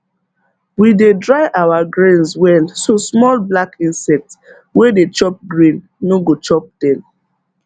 we dey dry our grains well so small black insect wey dey chop grain no go chop dem